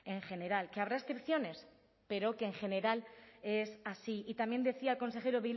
en general que habrá excepciones pero que en general es así y también decía el consejero